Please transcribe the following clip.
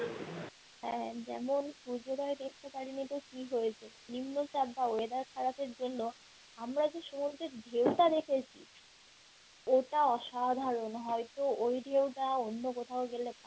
হ্যাঁ যেমন দেখতে পারিনি তো কি হয়েছে নিম্নচাপ বা weather খারাপের জন্য আমরা যে সমুদ্রের ঢেউটা দেখেছি ওটা অসাধারণ হয়তো ওই ঢেউটা অন্য কোথাও গেলে